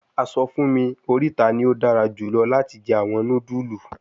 A sọ fun mi orita ni o dara julọ lati jẹ awọn nudulu